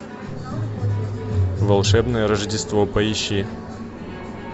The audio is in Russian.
волшебное рождество поищи